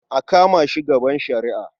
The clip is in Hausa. A kama shi gaban shari'a.